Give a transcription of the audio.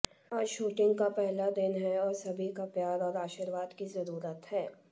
आज शूटिंग का पहला दिन है और सभी का प्यार और आशीर्वाद की जरूरत है